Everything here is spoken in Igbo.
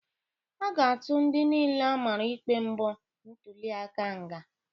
A ga-atụ ndị niile amara ikpe mpọ ntuliaka nga.